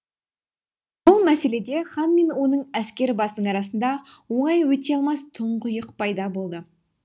бұл мәселеде хан мен оның әскер басының арасында оңай өте алмас тұңғиық пайда болды